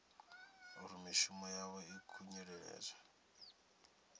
uri mishumo yavho i khunyeledzwa